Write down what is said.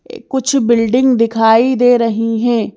इअ कुछ बिल्डिंग दिखाई दे रही हैं।